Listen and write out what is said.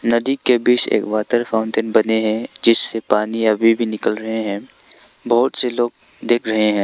नदी के बीच एक वाटर फाउंटेन बने हैं जिससे पानी अभी भी निकल रहे हैं बहुत से लोग देख रहे हैं।